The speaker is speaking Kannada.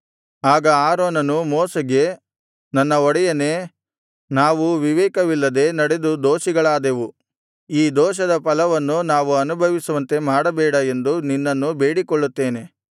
ಆಗ ಆರೋನನು ಮೋಶೆಗೆ ನನ್ನ ಒಡೆಯನೇ ನಾವು ವಿವೇಕವಿಲ್ಲದೆ ನಡೆದು ದೋಷಿಗಳಾದೆವು ಈ ದೋಷದ ಫಲವನ್ನು ನಾವು ಅನುಭವಿಸುವಂತೆ ಮಾಡಬೇಡ ಎಂದು ನಿನ್ನನ್ನು ಬೇಡಿಕೊಳ್ಳುತ್ತೇನೆ